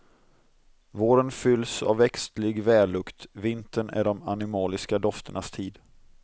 Våren fylls av växtlig vällukt, vintern är de animaliska dofternas tid.